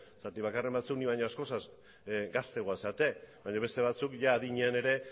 zergatik bakarren batzuk ni baino askoz ere gazteagoak zarete baina beste batzuek ia adinean ere